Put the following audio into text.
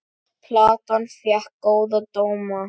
Platan fékk góða dóma.